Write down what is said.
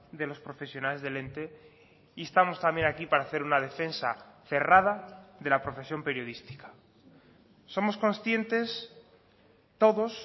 de los profesionales del ente instamos también aquí para hacer una defensa cerrada de la profesión periodística somos conscientes todos